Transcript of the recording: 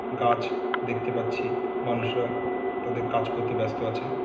গাছ দেখতে পাচ্ছি। মানুষরা তাদের কাজ করতে ব্যস্ত আছে।